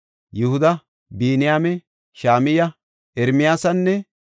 Yihuda, Biniyaame, Shama7iya, Ermiyaasinne